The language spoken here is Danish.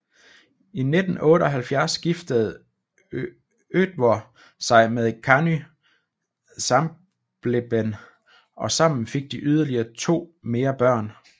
I 1978 giftede Oddvør sig med Kanny Sambleben og sammen fik de yderligere to mere børn